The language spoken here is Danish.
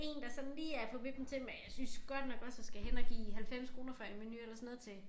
Én der sådan lige er på vippen til men jeg synes godt nok også at skal hen og give 90 kroner for en menu eller sådan noget til